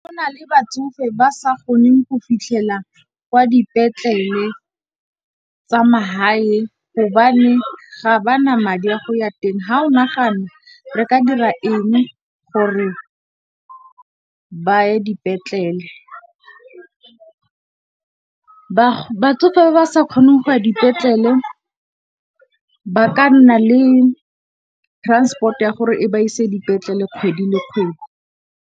Go na le batsofe ba sa goneng go fitlhelela kwa dipetlele tsa mahae gobane ga ba na madi a go ya teng. Ha o nagana re ka dira eng gore ba ye dipetlele? Batsofe ba ba sa kgoneng go ya dipetlele ba ka nna le transport ya gore e ba ise dipetlele kgwedi le kgwedi.